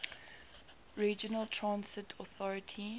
regional transit authority